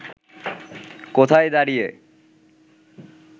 কোথায় দাঁড়িয়ে